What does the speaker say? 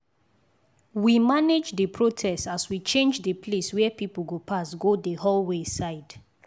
we manage the protest as we change the place where people go pass go the hallway side